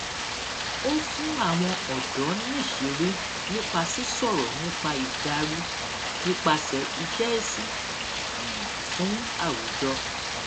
ó fún àwọn ọdọ níṣìírí nípa sísọrọ nípa ìdarí nípasẹ iṣẹ ìsìn um fún àwùjọ